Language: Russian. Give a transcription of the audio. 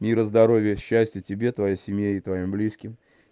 мира здоровья счастья тебе твоей семье и твоим близким